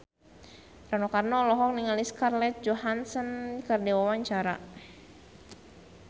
Rano Karno olohok ningali Scarlett Johansson keur diwawancara